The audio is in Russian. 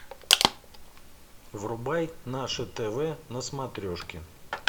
врубай наше тв на смотрешке